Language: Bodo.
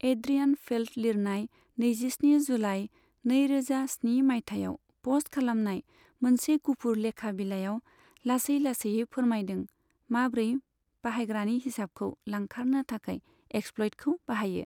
एड्रियान फेल्ट लिरनाय नैजिस्नि जुलाई, नैरोजा स्नि मायथाइयाव प'स्ट खालामनाय मोनसे गुफुर लेखा बिलाइयाव लासै लासैयै फोरमायदों माब्रै बाहायग्रानि हिसाबखौ लांखारनो थाखाय एक्सप्लयटखौ बाहायो।